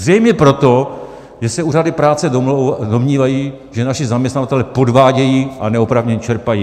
Zřejmě proto, že se úřady práce domnívají, že naši zaměstnavatelé podvádějí a neoprávněně čerpají.